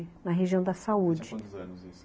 Na região da saúde